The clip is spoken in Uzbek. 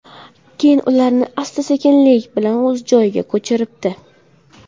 Keyin ularni asta-sekinlik bilan o‘z joyiga ko‘chiribdi.